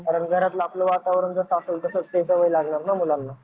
कारण घरातलं आपलं वातावरण कसं असेल तसंच सवय लागणार ना मुलांना